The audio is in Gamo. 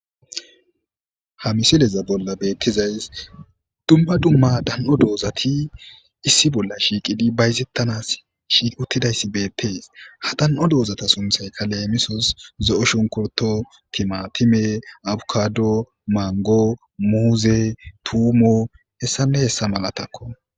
ha misileza bolla beettizays dumba dumma dan7o doozati issi bolla shiiqidi bayzettanas shiiquttidayssi beettees ha dan7o doozata sunthaykka leemisos zo7o shunkurto timatime abukado mango muuze tuumo hessane hessa malatakko